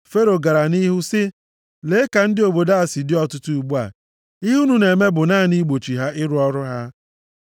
Fero gara nʼihu sị, “Lee, ka ndị obodo a si dị ọtụtụ ugbu a, ihe unu na-eme bụ naanị igbochi ha ịrụ ọrụ ha.”